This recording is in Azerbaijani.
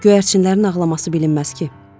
Göyərçinlərin ağlaması bilinməz ki.